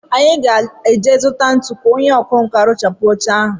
Anyị ga-eje zụtakwuo ntu ka onye ọkwánka rụpụchaa oche a